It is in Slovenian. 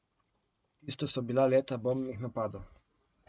Tisto so bila leta bombnih napadov.